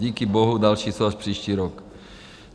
Díky bohu další jsou až příští rok.